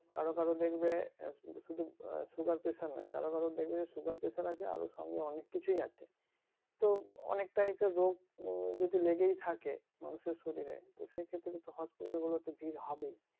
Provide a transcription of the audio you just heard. কারো কারো দেখবে শুধু শুধু sugar pressure নাই কারো কারো দেখবে sugar pressure আছে আরো সঙ্গে অনেক কিছুই আছে তো অনেক type এর রোগ যদি লেগেই থাকে মানুষ এর শরীরে তো সেই ক্ষেত্রে তো hospital গুলোতে ভিড় হবেই